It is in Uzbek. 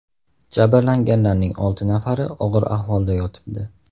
Jabrlanganlarning olti nafari og‘ir ahvolda yotibdi.